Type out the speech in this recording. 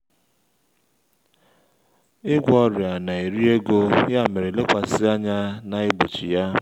ịgwọ ọrịa na-eri ego ya mere lekwasị anya na igbochi ya